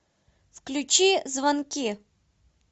включи звонки